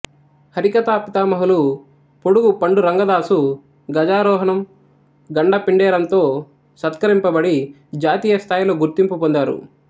హరికథా పితామహులు పొడుగు పండురంగాదాసు గజారోహణం గండపిండేరంతో సత్కరింపబడి జాతీయ స్థాయలో గుర్తింపు పొందారు